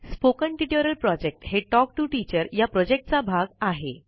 spoken tutorial project हे talk to teacher या प्रॉजेक्टचा भाग आहे